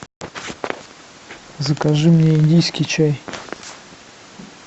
закажи мне индийский чай